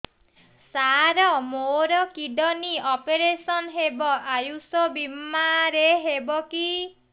ସାର ମୋର kidney operation ହେବ ଆୟୁଷ ବିମାରେ ହେବ କି